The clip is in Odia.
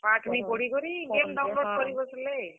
ପାଠ ନି ପଢିକରି game download କରି ବସ୍ ଲେ।